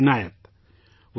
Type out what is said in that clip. Wasim Inayat